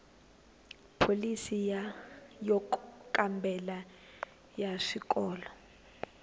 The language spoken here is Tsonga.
pholisi yo kambela ya swikolo